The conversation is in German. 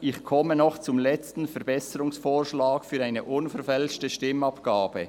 «Ich komme noch zum letzten Verbesserungsvorschlag für eine unverfälschte Stimmabgabe.